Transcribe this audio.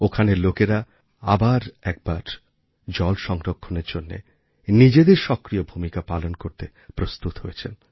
ওখানের লোকেরা আবার একবার জল সংরক্ষণের জন্য নিজেদের সক্রিয় ভূমিকা পালন করতে প্রস্তুত হয়েছেন